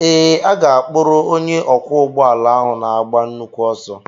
Ee, a ga-akpụrụ onye ọkwọ ụgbọala áhù na-agba nnukwu ọsọ